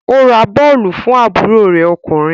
Ó ra bọ́ọ̀lù fún àbúrò rẹ ọkùnrin